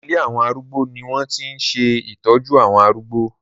Ilé àwọn arúgbó ni wọ́n ti ń ṣe ìtọ́jú àwọn arúgbó